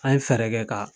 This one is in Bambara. An ye fɛɛrɛ kɛ ka